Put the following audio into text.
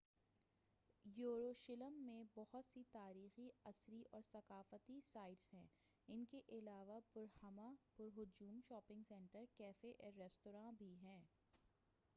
یروشلم میں بہت سی تاریخی اثری اور ثقافتی سائٹس ہیں ان کے علاوہ پُر ہمہمہ پُر ہجوم شاپنگ سنٹر کیفے اور رستوراں بھی ہیں